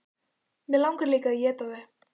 Mig langar líka að éta þig.